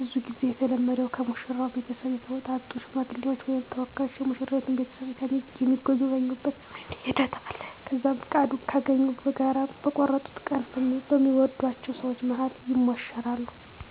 ብዙ ጊዜ የተለመደዉ ከሙሽራው ቤተሰብ የተውጣጡ ሽማግሌዎች ወይም ተወካዮች የሙሽራይቱን ቤተሰብ የሚጎበኙበት ሂደት አለ። ከዛም ፍቃድ ካገኙ በጋራ በቆርጡት ቀን በሚወድአቸው ሰወች መሀል ይሞሸራሉ።